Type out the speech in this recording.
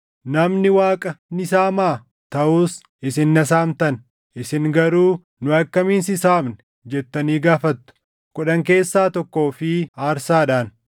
“Namni Waaqa ni saamaa?” Taʼus isin na saamtan. “Isin garuu, ‘Nu akkamiin si saamne?’ jettanii gaafattu. “Kudhan keessaa tokkoo fi aarsaadhaan.